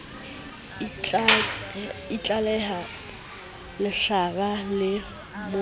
a itlaleha lehlaba le mo